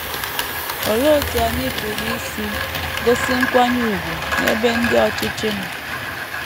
Olee otú anyị pụrụ isi gosi nkwanye ùgwù n’ebe ndị ọchịchị nọ?